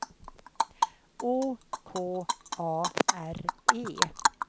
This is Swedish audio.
Å K A R E